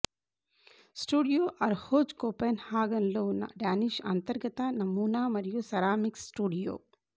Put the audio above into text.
studio Arhoj కోపెన్హాగన్లో ఉన్న Danish అంతర్గత నమూనా మరియు సెరామిక్స్ స్టూడియో